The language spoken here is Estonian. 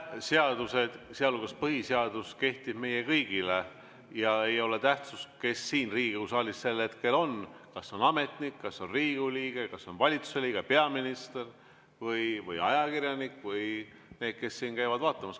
Seadused, sealhulgas põhiseadus, kehtivad meile kõigile ja ei ole tähtis, kes siin Riigikogu saalis sel hetkel on, kas see on ametnik, kas see on Riigikogu liige, kas see on valitsuse liige, peaminister või ajakirjanik või need, kes siin käivad vaatamas.